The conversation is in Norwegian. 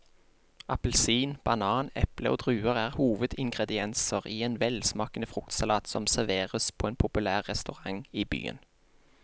Appelsin, banan, eple og druer er hovedingredienser i en velsmakende fruktsalat som serveres på en populær restaurant i byen.